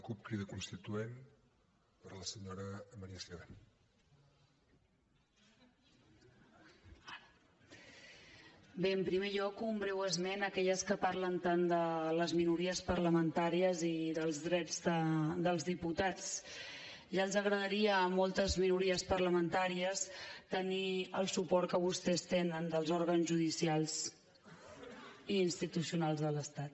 bé en primer lloc un breu esment a aquelles que parlen tant de les minories parlamentàries i dels drets dels diputats ja els agradaria a moltes minories parlamentàries tenir el suport que vostès tenen dels òrgans judicials i institucionals de l’estat